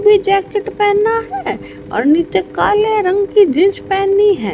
भी जैकेट पहनना है और नीचे काले रंग की जींस पहनी हैं।